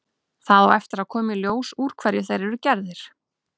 Það á eftir að koma í ljós úr hverju þeir eru gerðir.